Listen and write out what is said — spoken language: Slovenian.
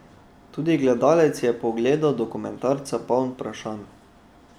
Tudi gledalec je po ogledu dokumentarca poln vprašanj.